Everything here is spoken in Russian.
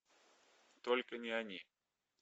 только не они